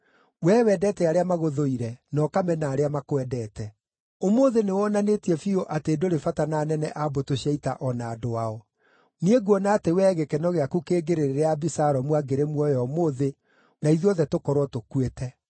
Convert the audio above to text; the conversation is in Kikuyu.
Wee wendete arĩa magũthũire, na ũkamena arĩa makwendete. Ũmũthĩ nĩwonanĩtie biũ atĩ ndũrĩ bata na anene a mbũtũ cia ita o na andũ ao. Niĩ nguona atĩ wee gĩkeno gĩaku kĩngĩrĩ rĩrĩa Abisalomu angĩrĩ muoyo ũmũthĩ na ithuothe tũkorwo tũkuĩte.